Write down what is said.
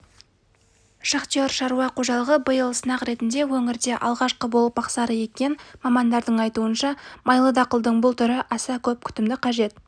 шахтер шаруа қожалығы биыл сынақ ретінде өңірде алғашқы болып мақсары еккен мамандардың айтуынша майлы дақылдың бұл түрі аса көп күтімді қажет